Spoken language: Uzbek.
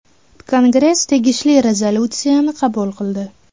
Kongress tegishli rezolyutsiyani qabul qildi.